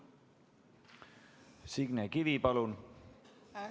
Signe Kivi, palun!